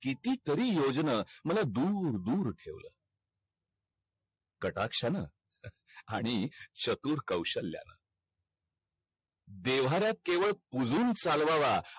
किती तरी योजना मला दूर दूर ठेवल काटाक्षाण आणि चतुर कवषल्यानं देव्हार्यात केवळ पुजून चालवावा